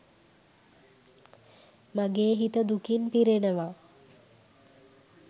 මගේ හිත දුකින් පිරෙනවා.